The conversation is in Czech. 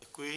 Děkuji.